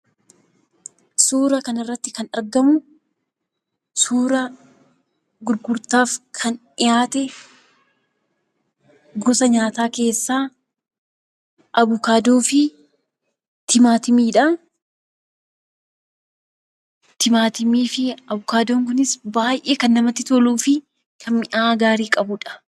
Suura kanarratti kan argamu suura gurgurtaaf kan dhiyaate gosa nyaataa keessaa Avokaadoo fi Timaatimiidha. Timaatimii fi Avokaadoon kunis baay'ee kan namatti toluu fi kan mi'aa baay'ee kan qabudha.